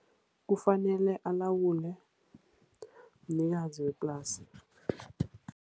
Kufanele alawule mnikazi weplasi.